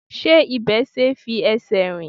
Ṣé ibẹ̀ ṣe é fi ẹsẹ̀ rìn?